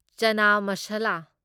ꯆꯥꯅꯥꯥ ꯃꯁꯥꯂꯥ